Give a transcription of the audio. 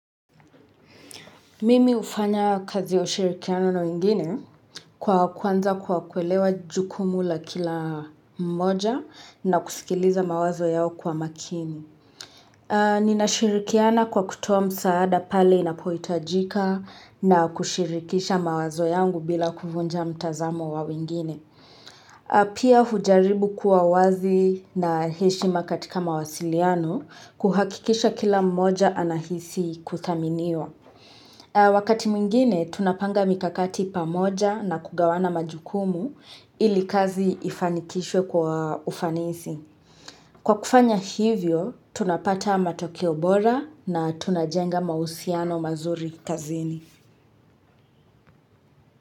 Mimi hufanya kazi ya ushirikiano na wengine kwa kuanza kwa kuelewa jukumu la kila mmoja na kusikiliza mawazo yao kwa makini. Nina shirikiana kwa kutoa msaada pale inapohitajika na kushirikisha mawazo yangu bila kuvunja mtazamo wa wengine. Pia hujaribu kuwa wazi na heshima katika mawasiliano kuhakikisha kila mmoja anahisi kuthaminiwa. Wakati mwingine, tunapanga mikakati pamoja na kugawana majukumu ili kazi ifanikishwe kwa ufanisi. Kwa kufanya hivyo, tunapata matokeo bora na tunajenga mahusiano mazuri kazini.